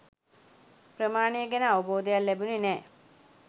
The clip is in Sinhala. ප්‍රමාණය ගැන අවබෝධයක් ලැබුණේ නෑ